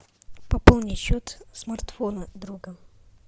пополни счет смартфона друга